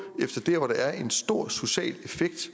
efter det hvor der er en stor social effekt